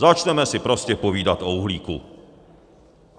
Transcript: Začneme si prostě povídat o uhlíku.